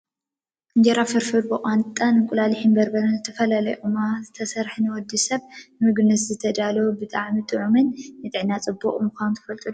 እንጀራ ፍርፍር ብቋንጣን እንቁላሊሕ፣ በርበረ ዝተፈላለዩ ቅመማትን ዝተሰረሓ ንወዲ ሰብ ንምግብነት ዝተዳለወ ብጣዕሚ ጥዑምን ንጥዕና ፅቡቅ ምኳኑ ትፈልጡ ዶ ?